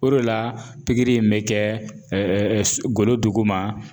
O de la pikiri in bɛ kɛ golo duguma